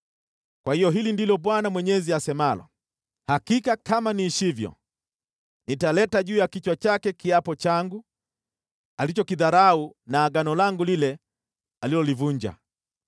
“ ‘Kwa hiyo hili ndilo Bwana Mwenyezi asemalo: Hakika kama niishivyo, nitaleta juu ya kichwa chake kiapo changu, alichokidharau na Agano langu lile alilolivunja.